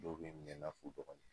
Dɔw bi minɛ i fɔ u dɔgɔnin